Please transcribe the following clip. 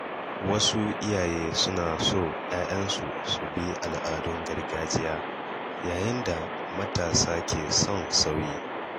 Wasu iyaye suna so ‘ya’yansu su bi al’adun gargajiya, yayin da matasa ke son sauyi.